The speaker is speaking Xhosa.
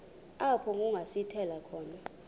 apho kungasithela khona